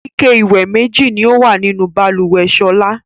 Ike-ìwẹ̀ méjì ni ó wà nínú balùwẹ̀ Ṣọlá.